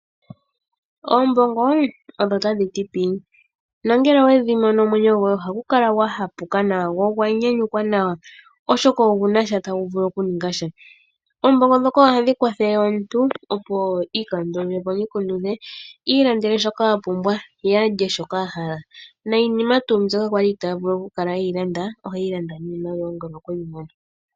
Oombongo odho tadhiti pii nongele owedhimono omwenyo goye oha gukala gwahapuka nawa go ogwa nyanyukwa nawa, oshoka ogunasha ta guvulu okuningasha, oombongo dhoka ohadhi kwathele omuntu opo iikandulilepo omikundu dhe iilandele shoka apumbwa ye alye shoka ahala , noyinima tuu mbyoka ali itavulu okulanda oheyi landa niimaliwa ngele okweyimono.